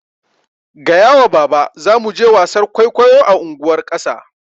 Gaya wa baba zamu je wasar kwaikwayo a unguwar ƙasa